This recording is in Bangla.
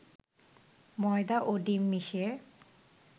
ময়দা ও ডিম মিশিয়ে